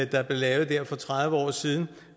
der blev lavet dér for tredive år siden